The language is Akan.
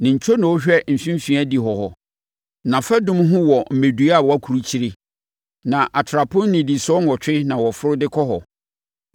Ne ntwonoo hwɛ mfimfini adihɔ hɔ; nʼafadum ho wɔ mmɛdua a wɔakurukyire, na atrapoe nnidisoɔ nwɔtwe na wɔforo de kɔ hɔ.